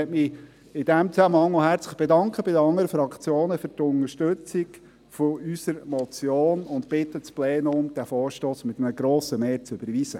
Ich möchte mich in diesem Zusammenhang bei den anderen Fraktionen für die Unterstützung unserer Motion bedanken und bitte das Plenum, den Vorstoss mit einem grossen Mehr zu überweisen.